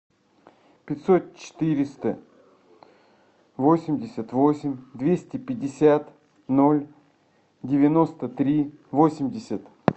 пятьсот четыреста восемьдесят восемь двести пятьдесят ноль девяносто три восемьдесят